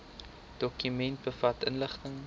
dokument bevat inligting